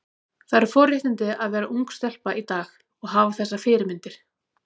Það eru forréttindi að vera ung stelpa í dag og hafa þessar fyrirmyndir.